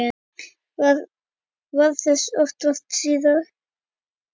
Varð þess oft vart síðan.